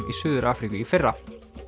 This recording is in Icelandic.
í Suður Afríku í fyrra